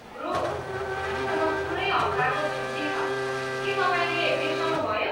Bro, हामीसँग पुरै हप्ताको छुट्टी छ, के तपाईँले बिर्सनुभयो?